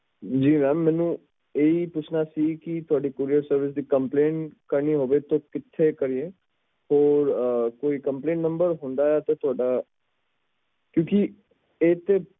ਹਾਂਜੀ ਇਹ ਪੁੱਛਣਾ ਸੀ ਕਿ ਤੁਹਾਡੀ courierservice ਦੀ complaint ਕਰਨੀ ਹੋਵੇ ਤਾਂ ਕਿਥੇ ਕਰ ਸਕਦੇ ਆ ਕੋਈ complaintnumber ਹੁੰਦਾ ਆ ਥੋੜਾ ਕਿਓਂਕਿ